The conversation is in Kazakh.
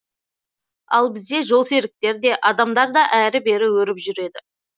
ал бізде жолсеріктер де адамдар да әрі бері өріп жүреді